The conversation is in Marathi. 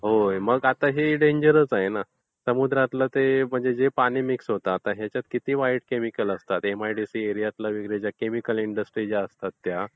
मग हे डेंजरस आहे ना. समुद्रात जे पाणी मिक्स होते, आता ह्याच्यामध्ये किती वाईट केमिकल असतात - एमआयडीसी एरियातील ज्या इंडस्ट्री असतात